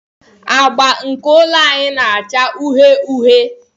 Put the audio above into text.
Agba nke ụlọ anyị na-acha uhie uhie.